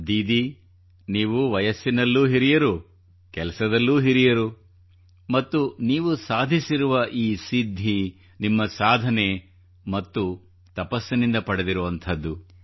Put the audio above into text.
ದೀದಿ ನೀವು ವಯಸ್ಸಿನಲ್ಲೂ ಹಿರಿಯರು ಕೆಲಸದಲ್ಲೂ ಹಿರಿಯರು ಮತ್ತು ನೀವು ಸಾಧಿಸಿರುವ ಈ ಸಿದ್ಧಿ ನಿಮ್ಮ ಸಾಧನೆ ಮತ್ತು ತಪಸ್ಸಿನಿಂದ ಪಡೆದಿರುವುದು